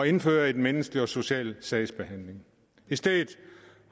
indføre en menneskelig og social sagsbehandling i stedet